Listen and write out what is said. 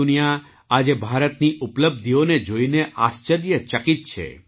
સમગ્ર દુનિયા આજે ભારતની ઉપલબ્ધિઓને જોઈને આશ્ચર્યચકિત છે